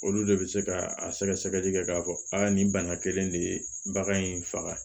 Olu de bɛ se ka a sɛgɛsɛgɛli kɛ k'a fɔ a nin bana kelen in de ye bagan in faga